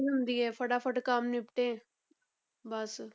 ਹੁੰਦੀ ਹੈ ਫਟਾਫਟ ਕੰਮ ਨਿਪਟੇ ਬਸ।